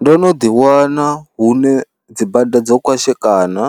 Ndo no ḓiwana hune dzibada dzo kwashekana,